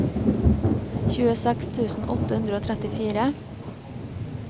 tjueseks tusen åtte hundre og trettifire